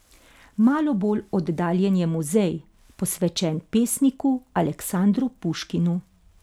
Malo bolj oddaljen je muzej, posvečen pesniku Aleksandru Puškinu.